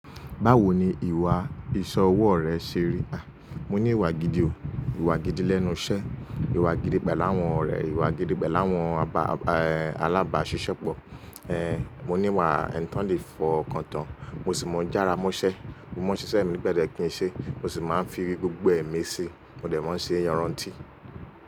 Báwo ni ìwà ìsẹ́ ọwọ́ rẹ ṣe rí? À, mo ní ìwà gidi o. Ìwà gidi lẹ́nu iṣẹ́, ìwà gidi pẹ̀lú àwọn ọ̀rẹ́, ìwà gidi pẹ̀lú àwọn àbá, àbá, alábàáṣiṣẹ́pọ̀. Eh, mo ní ìwà ẹni tó ń lè fi ọkàn tán. Mo sì ń mọ̀ n jára mọ́ṣẹ́. Mo mọ n ṣiṣẹ́ mi nípẹ̀lẹ kín ṣe mo sì máa ń fi gbogbo ẹmi si. Mo dẹ̀ máa ń ṣe yanrànntí.